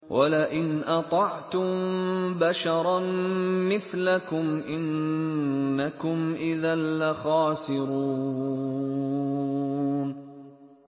وَلَئِنْ أَطَعْتُم بَشَرًا مِّثْلَكُمْ إِنَّكُمْ إِذًا لَّخَاسِرُونَ